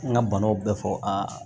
N ka banaw bɛ fɔ a